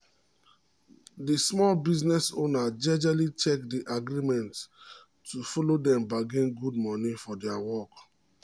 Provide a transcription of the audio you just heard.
the small business owner jejely check the agreement to allow dem bargain good money for dia work